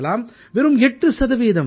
வெறும் 8 சதவீதம் தான்